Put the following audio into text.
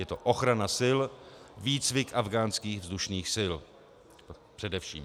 Je to ochrana sil, výcvik afghánských vzdušných sil, především.